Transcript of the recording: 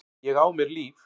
Ég á mér líf.